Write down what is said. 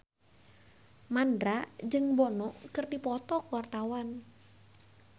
Mandra jeung Bono keur dipoto ku wartawan